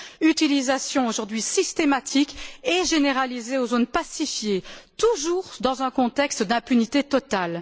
utilisation aujourd'hui systématique et généralisée dans les zones pacifiées, toujours dans un contexte d'impunité totale.